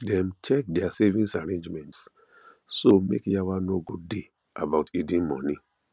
dem check their savings arrangements so make yawa no go day about hidden money